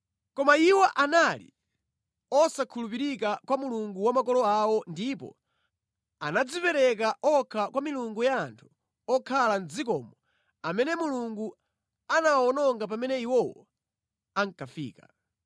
Koma iwo anali osakhulupirika kwa Mulungu wa makolo awo ndipo anadzipereka okha kwa milungu ya anthu okhala mʼdzikomo amene Mulungu anawawononga pamene iwowo ankafika.